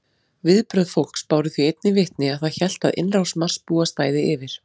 Viðbrögð fólks báru því einnig vitni að það hélt að innrás Marsbúa stæði yfir.